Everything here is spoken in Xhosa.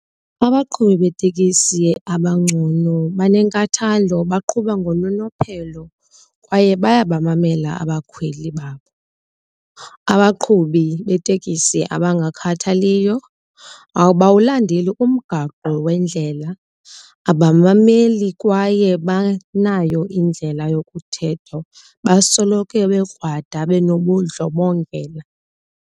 Abaqhubi beetekisi abangcono banenkathalo, baqhuba ngononophelo kwaye bayabamamela abakhweli babo. Abaqhubi beetekisi abangakhathaliyo abawulandeli umgaqo wendlela, abamameli kwaye abanayo indlela yokuthetha, basoloko bekrwada benobundlobongela.